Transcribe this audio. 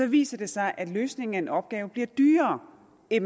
viser sig at løsningen af en opgave bliver dyrere end